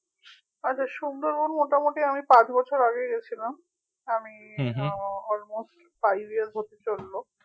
আচ্ছা সুন্দরবন মোটামুটি আমি পাঁচ বছর আগে গেছিলাম। আমি আহ almost five years হতে চললো